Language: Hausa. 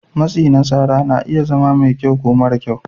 Matsi na tsara na iya zama mai kyau ko mara kyau.